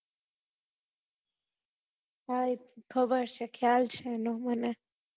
હા એ તો ખબર છે ખ્યાલ છે એ નો મને